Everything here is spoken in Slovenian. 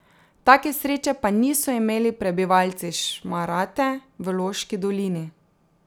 Take sreče pa niso imeli prebivalci Šmarate v Loški dolini.